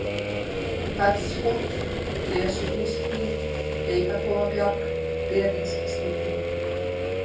Fellshóll, Blesugilshlíð, Geitakofabjarg, Beringsstykki